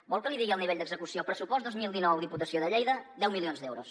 vol que n’hi digui el nivell d’execució pressupost dos mil dinou diputació de lleida deu milions d’euros